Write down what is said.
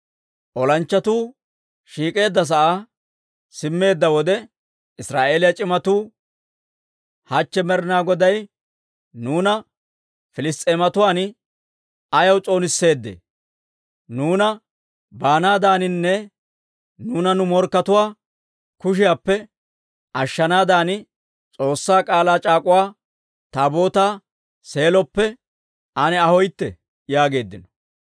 Olanchchatuu shiik'eedda sa'aa simmeedda wode, Israa'eeliyaa c'imatuu, «Hachche Med'inaa Goday nuuna Piliss's'eematuwaan ayaw s'oonisseedee? Nuunana baanaadaninne nuuna nu morkkatuwaa kushiyaappe ashshanaadan S'oossaa K'aalaa c'aak'uwa Taabootaa Seeloppe ane ahooytte» yaageeddino.